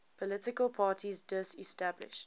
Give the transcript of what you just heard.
political parties disestablished